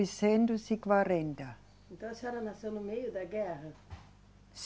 e quarenta. Então a senhora nasceu no meio da guerra?